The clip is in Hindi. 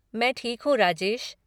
मैं ठीक हूँ राजेश।